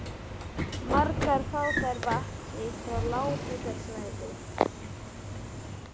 Margar fá þær vatn sitt frá lághitasvæðum.